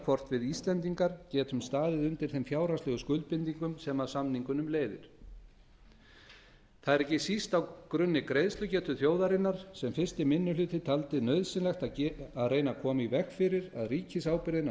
hvort við íslendingar geti staðið undir þeim fjárhagslegu skuldbindingum sem af samningunum leiðir það er ekki síst á grunni greiðslugetu þjóðarinnar sem fyrsti minni hluti taldi nauðsynlegt að reyna að koma í veg fyrir að ríkisábyrgðin á